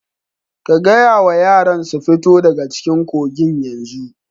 Ka gaya wa yaran su fito daga cikin kogin yanzu!